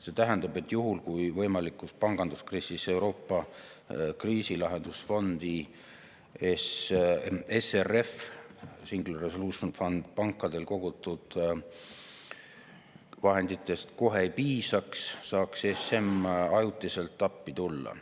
See tähendab, et juhul kui võimalikus panganduskriisis Euroopa kriisilahendusfondi SRF‑i ehk Single Resolution Fundi pankadel kogutud vahenditest kohe ei piisaks, saaks ESM ajutiselt appi tulla.